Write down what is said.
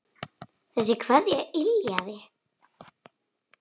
Þessi kveðja yljaði.